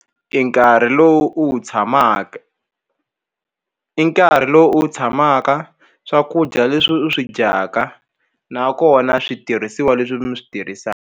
E nkarhi lowu u wu tshamaka i nkarhi lowu u wu tshamaka swakudya leswi u swi dyaka nakona switirhisiwa leswi mi swi .